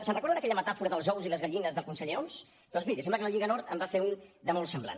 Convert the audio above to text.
se’n recorden d’aquella metàfora dels ous i les gallines del conseller homs doncs miri sembla que la lliga nord en va fer un de molt semblant